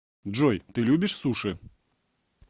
джой ты любишь суши